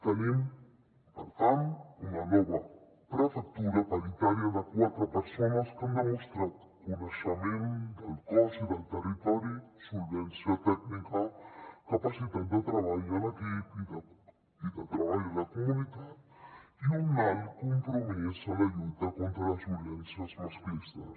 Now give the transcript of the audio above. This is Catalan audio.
tenim per tant una nova prefectura paritària de quatre persones que ha demostrat coneixement del cos i del territori solvència tècnica capacitat de treball en equip i de treball a la comunitat i un alt compromís en la lluita contra les violències masclistes